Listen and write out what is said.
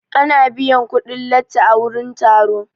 Ana biyan kuɗin latti a wurin taro.